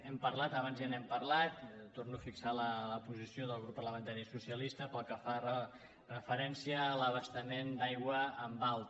hem parlat abans ja n’hem parlat torno a fixar la posició del grup parlamentari socialista pel que fa referència a l’abastament d’aigua en alta